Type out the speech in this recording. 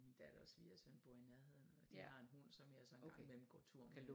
Min datter og svigersøn bor i nærheden og de har en hund som jeg så en gang imellem går tur med